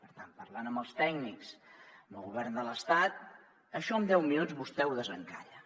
per tant parlant amb els tècnics amb el govern de l’estat això en deu minuts vostè ho desencalla